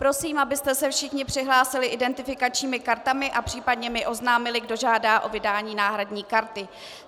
Prosím, abyste se všichni přihlásili identifikačními kartami a případně mi oznámili, kdo žádá o vydání náhradní karty.